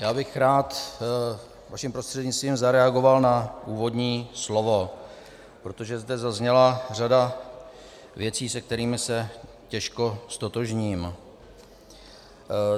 Já bych rád vaším prostřednictvím zareagoval na úvodní slovo, protože zde zazněla řada věcí, se kterými se těžko ztotožním.